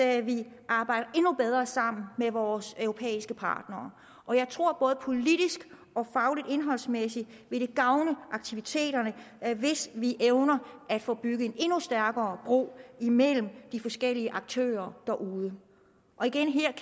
at vi arbejder endnu bedre sammen med vores europæiske partnere og jeg tror at det både politisk og fagligt indholdsmæssigt vil gavne aktiviteterne hvis vi evner at få bygget en endnu stærkere bro mellem de forskellige aktører derude igen